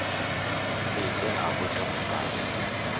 se ke a botša mosadi